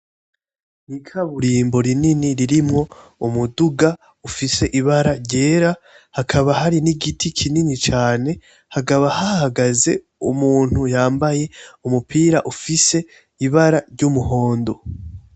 Ikaburimbo rinini ririmwo umuduga ufise ibara ryera hakaba hari nigiti kinini cane hakaba hahagaze umuntu yambaye umupira ufise ibara ry,umuhondo.